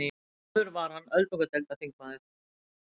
Áður var hann öldungadeildarþingmaður